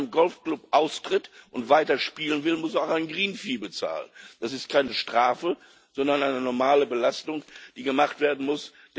Wer aus einem Golfclub austritt und weiterspielen will, muss auch eine green fee bezahlen. Das ist keine Strafe, sondern eine normale Belastung, die gemacht werden muss.